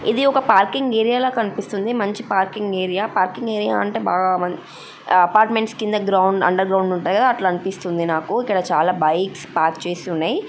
ఇదిఒక parking area కనిపిస్తుంది మంచి parking area parking area అంటె బాగా మన్ ఆ-అపార్ట్మెంట్స్ కింద గ్రౌం--అండర్ గ్రౌండ్ ఉంటయ్ కదా అట్ల అనిపిస్తుంది నాకు ఇక్కడ చాల బైక్స్ పార్క్ చేసి ఉన్నయ్.